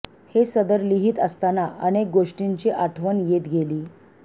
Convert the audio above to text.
हे सदर लिहीत असताना अनेक गोष्टींची आठवण येत गेली